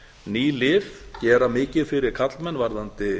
ný lyf gera mikið fyrir karlmenn varðandi